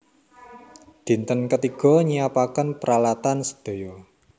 Dinten ketiga nyiapaken pralatan sedaya